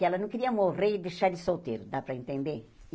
Que ela não queria morrer e deixar ele solteiro, dá para entender?